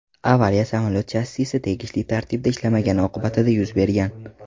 Avariya samolyot shassisi tegishli tartibda ishlamagani oqibatida yuz bergan.